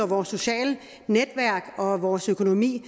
vores sociale netværk og vores økonomi